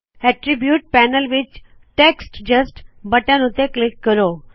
attribute panel ਵਿੱਚ text just button ਉੱਤੇ click ਕਰੋ